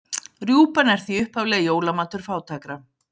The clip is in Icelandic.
Rjúpan er því upphaflega jólamatur fátækra.